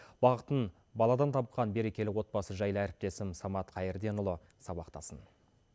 бақытын баладан тапқан берекелі отбасы жайлы әріптесім самат қайырденұлы сабақтасын